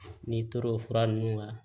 N'i tor'o fura nunnu na